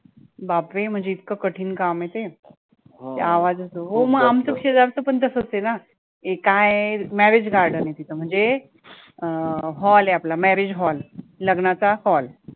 बापरे म्हणजे इतकं कठीण काम आहे ते, हो मग आमचं शेजारचं पण तसंच आहे ना, ते काय आहे marriage garden आहे तिथं म्हणजे अं hall आहे, आपला marriage hall लग्नाचा hall